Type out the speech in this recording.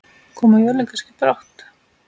Koma jólin kannski brátt?